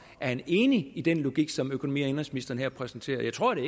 han enig i den logik som økonomi og indenrigsministeren her præsenterede jeg tror det